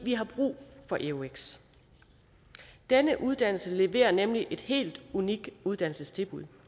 har brug for eux denne uddannnelse leverer nemlig et helt unikt uddannelsestilbud